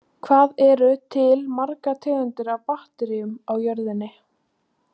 Hvað eru til margar tegundir af bakteríum á jörðinni?